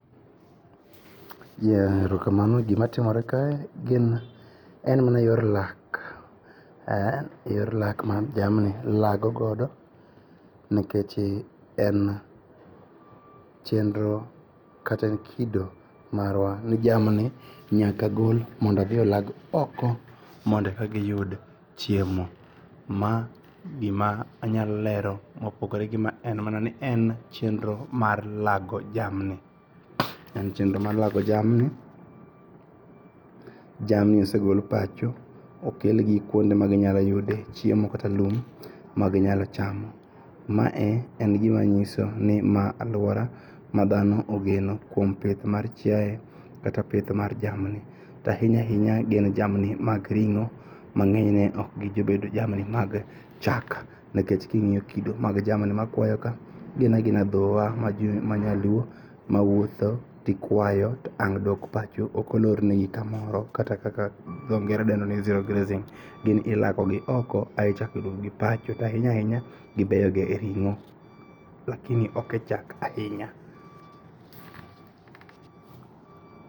Erokamano. Gimatimore kae en yor lak ,yor lak ma dhiang'ni lagogodo nikech en chenro kata en kido marwa ni jamni nyaka gol mondo odhi olag oko mondo ekagiyud chiemo. Ma gima anyalo lero mopogore gi ma en mana en chenro mar lago jamni. En chenro mar lago jamni. Jamni osegol pacho mokelgi kuonde maginyaloyude chiemo kata lum ma ginyalo chamo. Mae en gimanyisoni ma aluora ma dhano ogeno kuom pith mar chiae kata pith mar jamni. Tainya ainya gin jamni mag ring'o mang'eni okgibedo jamni mag chak nikech king'iyo kido mag jamni makwayoka ginagina dhowa ma ji manyaluo mawuotho tikwayo to ang'duok pacho okolornegi kaoro kata kaka jongere dendoni zero grazing. Gin ilagogi oko ae ichako iduokogi pacho to ainyaainya gibeyoga e ring'o lakini ok e chak ainya.